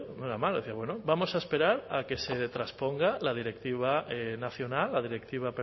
no era malo bueno vamos a esperar a que se trasponga la directiva nacional la directiva